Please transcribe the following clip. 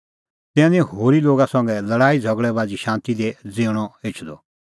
तिन्नां निं होरी लोगा संघै लल़ाई झ़गल़ै बाझ़ी शांती दी ज़िऊंणअ एछदअ